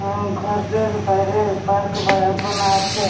আহ ঘরের বাইরে পার্ক বা বোনা আছে।